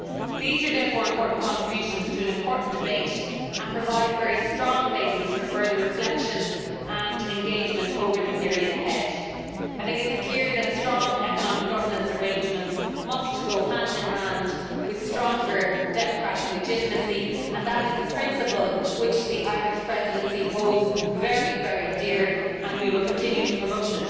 These are therefore important contributions to an important debate, and provide a very strong basis for further reflection and engagement over the period ahead. It is clear that strong economic governance arrangements must go hand in hand with stronger democratic legitimacy, and that is a principle which the Irish Presidency holds very dear and will continue to promote.